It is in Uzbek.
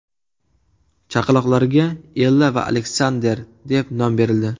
Chaqaloqlarga Ella va Aleksander deb nom berildi .